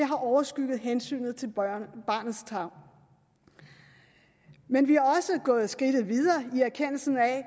har overskygget hensynet til barnets tarv men vi er også gået et skridt videre i erkendelsen af at